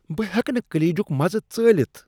بہٕ ہیٚکہٕ نہٕ کلیجُک مزٕ ژٲلِتھ ۔